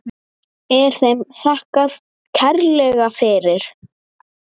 Er þeim þakkað kærlega fyrir.